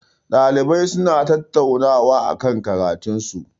Ɗalibai suna tattaunawa akan karatun su.